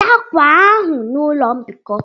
Weta akwa ahụ na ụlọ mbikọ!